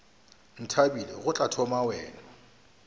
ntlabile go tla thoma wena